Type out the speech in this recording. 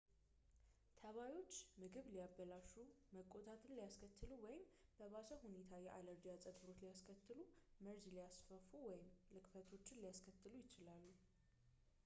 ተባዮች ምግብ ሊያበላሹ መቆጣትን ሊያስከትሉ ወይም በባሰ ሁኔታ የአለርጂ አፀግብሮት ሊያስከትሉ መርዝ ሊያስፋፉ ወይም ልክፈቶችን ሊያስተላልፉ ይችላሉ